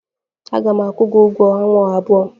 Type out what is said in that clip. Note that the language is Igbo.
Aga m akwụ gị ụgwọ ọnwa abụọ.